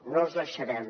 no els deixarem